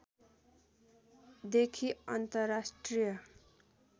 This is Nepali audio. देखि अन्तर्राष्ट्रिय